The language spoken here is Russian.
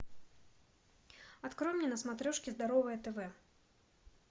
открой мне на смотрешке здоровое тв